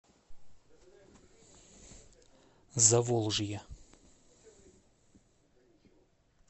заволжье